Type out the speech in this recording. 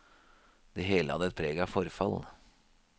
Det hele hadde et preg av forfall.